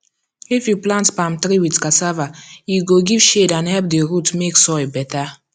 if you plant palm tree with cassava e go give shade and help the root make soil better